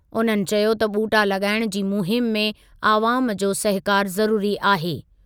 उन्हनि चयो त ॿूटा लॻाइणु जी मुहिम में अवामु जो सहकारु ज़रुरी आहे।